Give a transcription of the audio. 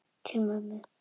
Til mömmu.